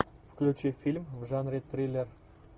включи фильм в жанре триллер